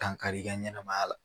Dankari i ka ɲɛnɛmaya la